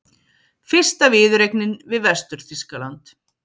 Fyrsta viðureignin við Vestur-Þýskaland